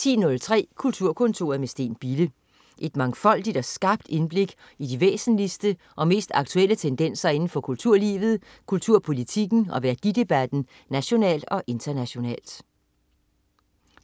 10.03 Kulturkontoret med Steen Bille. Et mangfoldigt og skarpt indblik i de væsentligste og mest aktuelle tendenser indenfor kulturlivet, kulturpolitikken og værdidebatten nationalt og internationalt